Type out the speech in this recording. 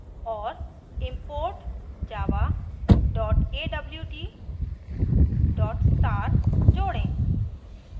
और import java awt *; जोडें